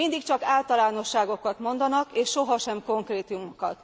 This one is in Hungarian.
Mindig csak általánosságokat mondanak és sohasem konkrétumokat.